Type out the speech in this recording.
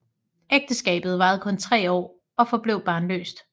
Ægteskabet varede kun tre år og forblev barnløst